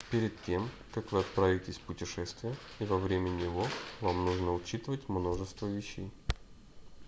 перед тем как вы отправитесь в путешествие и во время него вам нужно учитывать множество вещей